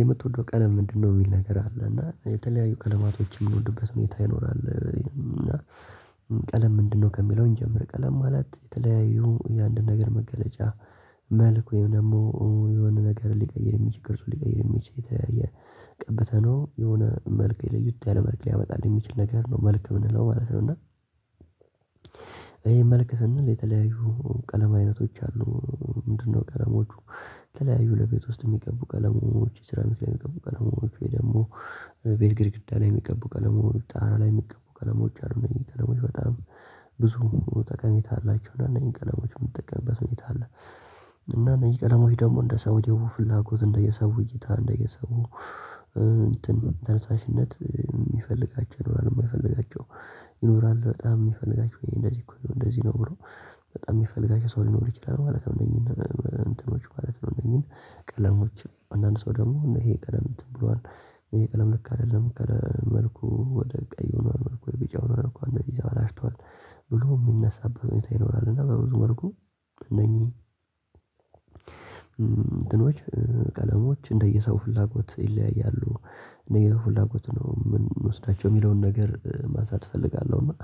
የምትወደው ቀለም ምንድነው? የሚል ነገር አለ እና የተለያዩ ቀለማቶችን የምንወድበት ሁኔታ ይኖራል። እና ቀለም ምንድነው ከሚለው እንጀምር ቀለም ማለት የተለያዩ የአንድ ነገር መገለጫ። መልኩ ወይም ደግሞ የሆነ ነገር ሊቀይር የሚችል ቅርጹን ሊቀይር የሚችል የተለያየ የቀብተ ነው የሆነ መልክ ለየት ያለ መልክ ሊያመጣልን የሚችል ነገር ነው መልክ የምንለው ማለት ነው። እና ይሄ መልክ ስንል የተለያዩ ቀለም አይነቶች አሉ። ምንድነው ቀለሞቹ? ተለያዩ ለቤት ውስጥ የሚቀቡ ቀለሞች ሴራሚክ ላይ የሚቀቡ ቀለሞች ወይ ደግሞ ቤት ግድግዳ ላይ የሚቀቡ ቀለሞች ጣራ ላይ የሚቀቡ ቀለሞች አርመን ቀለሞች በጣም ብዙ ጠቀሜታ አላቸው እነዚህ ቀለሞች የምትጠቀምበት ሁኔታ አለ። እና እነዚህ ቀለሞች ደግሞ እንደ ሰው የውበት ፍላጎት እንደየሰው እይታ እንደየሰቡ እንትን ተነሳሽነት የሚፈልጋቸው ይኖራል የማይፈልጋቸው ይኖራል በጣም የሚፈልጋቸው እንደዚህ እኮ እንደዚህ ነው ብሎ በጣም የሚፈልጋቸው ሰው ሊኖር ይችላል ማለት ነው። እንትኖች ማለት ነው። እንደኛ ቀለሞች አንዳንድ ሰው ደግሞ ይሄ ቀለም ብሏል ይሄ ቀለም ልክ አይደለም ከመልኩ ወደ ቀይ ሆኗል መልኩ ወደ ቢጫ ሆኗል እንደዚህ አላሽቷል ብሎ የሚነሳበት ሁኔታ ይኖራል። እና በብዙ መልኩ እነኚህ እንትኖች ቀለሞች እንደየሰው ፍላጎት ይለያያሉ። እኔ የፍላጎት ነው የምወስዳቸው የሚለውን ነገር ማንሳት እፈልጋለሁ። እና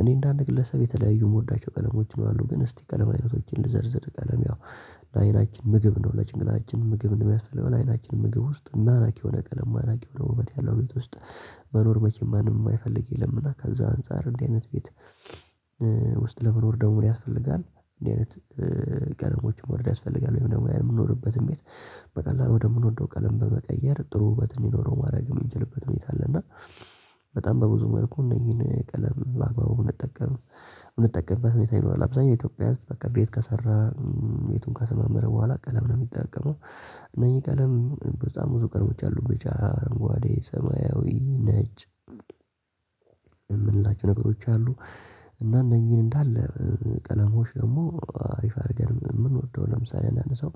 እኔ እንደ አንድ ግለሰብ የተለያዩ የምወዳቸው ቀለሞች ነው አሉ ግን እስቲ ቀለም አይነቶችን ልዘርዝር። ቀለም ያው ለአይናችን ምግብ እንደሆነ ለጭንቅላችን ምግብ እንደሚያስፈልግ አይናችን ምግብ ውስጥ ማራኪ የሆነ ቀለም ማራኪ የሆነ ውበት ያለው ቤት ውስጥ መኖር መቼም ማንም የማይፈልግ የለምና ከዛ አንፃር እንዲህ አይነት ቤት ውስጥ ለመኖር ደግሞ ያስፈልጋል። እንደዚህ ቀለሞችን መውደድ ያስፈልጋል። ወይም ደግሞ የምንኖርበትም ቤት በቀላሉ ወደ ምንወደው ቀለም በመቀየር ጥሩ ውበት እንደሚኖረው ማድረግ የምንችልበት ሁኔታ አለ። እና በጣም በብዙ መልኩ እነዚህን ቀለም በአግባቡ ብንጠቀም እንምጠቀምበት ሁኔታ ይኖራል። አብዛኛው የኢትዮጵያ በቃ ቤት ከሰራ ቤቱን ከሰማመረ በኋላ ቀለም ነው የሚጠቀመው። እነዚህ ቀለም በጣም ብዙ ቀለሞች አሉ ብጫ አረንጓዴ ሰማያዊ ነጭ የምንላቸው ነገሮች አሉ። እና እነኚህን እንዳለ ቀለሞች ደግሞ አሪፍ አድርገን የምንወደው ለምሳሌ አንዳንድ ሰው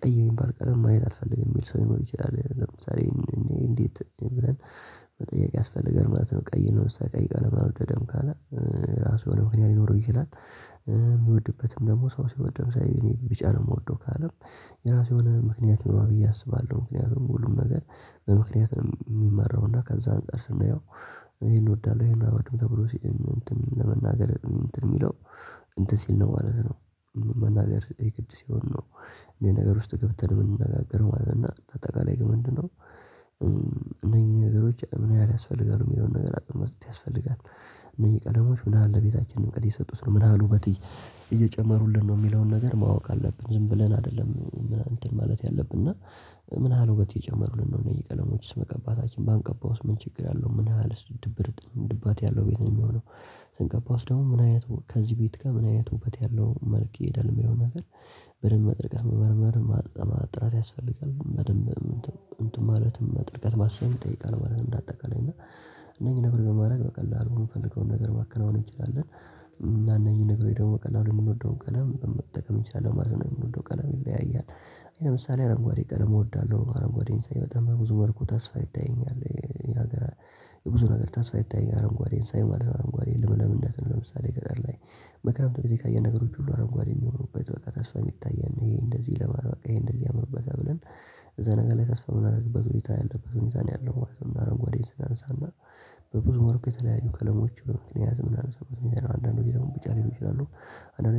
ቀይ የሚባል ቀለም ማየት አልፈልግም የሚል ሰው ሊኖር ይችላል። ለምሳሌ እኔ እንዴት ብለን መጠየቅ ያስፈልጋል ማለት ነው። ቀይ ነው ቀይ ነው የማይወድበት ካለ የራሱ ምክንያት ሊኖር ይችላል። ደግሞ ሰው ሲወድም ሳይሆን ቢጫ ነው የምወደው ካለም የራሱ የሆነ ምክንያት ይኖረዋል። ብዬ አስባለሁ ምክንያቱም ሁሉም ነገር በምክንያት የሚመራው ከዛ አንፃር ስንየው ይሄን እወዳለሁ ይሄን አወርድም ተብሎ ሲል ለመናገር የሚለው እንትን ሲል ነው ማለት ነው። መናገር የግድ ሲሆን ነው እኔ ነገር ውስጥ ገብተን የምንነጋገር ማለት ነው። እና በጠቅላላ ይህ ምንድነው? እነኚህ ነገሮች ምን ያህል ያስፈልጋሉ የሚለውን ነገር አቅም ያስፈልጋል። እነዚህ ቀለሞች ምን ያህል ለቤታችን ውበት የሰጡት ነው? ምን ያህሉ በውበት እየጨመሩልን ነው የሚለውን ነገር ማወቅ አለብን። ዝም ብለን አይደለም ምን አንተን ማለት ያለብን እና ምን አህል ውበት የጨመሩልን ነው እኝህ ቀለሞች መቀባታችን ባንቀባውስ ምን ችግር አለው ምን ያህል ድብርት ድባት ያለው ቤት ነው የሚሆነው? ስንቀባው ደግሞ ምን አይነት ከዚህ ቤት ጋር ምን አይነት ውበት ያለው መልክ ይሄዳል የሚለውን ነገር በደንብ መምረጥ መመርመር ማጥራት ያስፈልጋል። በደንብ እንትን ማለትም ጥልቀት ማሰብ ይጠይቃል። ማለት እንደ አጠቃላይ እና እነኚህ ነገሮች ማድረግ በቀላሉ የምፈልገውን ነገር ማከናወን እንችላለን። እና እነዚህ ነገሮች ደግሞ በቀላሉ የምንወደውን ቀለም መጠቀም ይቻላል ማለት ነው። የምንወደው ቀለም ይለያያል። እኔ ለምሳሌ አረንጓዴ ቀለም እወዳለሁ አረንጓዴ በጣም በብዙ መልኩ ተስፋ ይታየኛል የሀገር የብዙ ነገር ተስፋ ይታየኛል አረንጓዴን ሳይ ማለት ነው። አረንጓዴን ለምለምነትን ለምሳሌ ገጠር ላይ በክረምት ሁልጊዜ የተለያየ ነገሮች ሁሉ አረንጓዴ የሚሆኑበት በቃ ተስፋ የሚታየን ይሄ እንደዚህ ለማድረግ በቃ ይሄ እንደዚህ አምርበት ብለን እዛ ነገር ላይ ተስፋ የምናደርግበት ሁኔታ ያለበት ሁኔታ ነው ያለው አረንጓዴ። በብዙ ወርቅ የተለያዩ ቀለሞች በመክንያ ዝም ብላ አንዳንድ ጊዜ ደግሞ ብቻ ሊሆን ይችላል። አንዳንድ